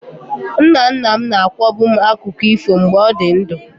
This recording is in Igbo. Nna nna m na-akọbu m akụkọ ifo mgbe ọ dị ndụ.